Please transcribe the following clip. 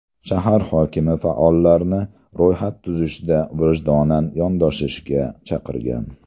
Shahar hokimi faollarni ro‘yxat tuzishda vijdonan yondashishga chaqirgan.